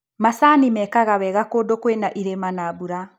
Macani mekaga wega kũndũ kwĩna irĩma na mbura.